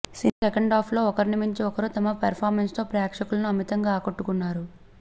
cinema సెకండాఫ్లో ఒకర్ని మించి మరొకరు తమ పర్ఫార్మెన్స్తో ప్రేక్షకులను అమితంగా ఆకట్టుకున్నారు